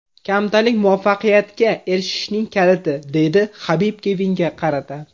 Kamtarlik muvaffaqiyatga erishishning kaliti”, deydi Habib Kevinga qarata.